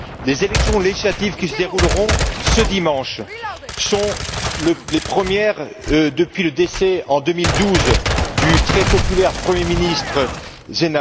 Les élections législatives qui se dérouleront ce dimanche sont les premières depuis le décès, en 2012, du très populaire Premier ministre M.